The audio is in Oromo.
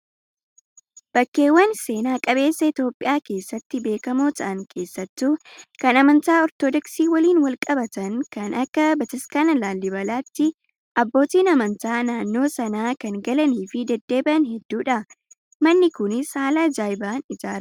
Bakkeewwan seenaa qabeessa Itoophiyaa keessatti beekamoo ta'an keessattuu kan amantaa orthodoksii waliin wal qabatan kan akka bataskaana laallibalaatti abbootiin amantaa naannoo sana kan galanii fi deddeebi'an hedduudha. Manni kunis haala ajaa'ibaan ijaarame